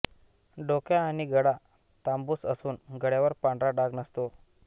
डोके आणि गळा तांबूस असून गळ्यावर पांढरा डाग नसतो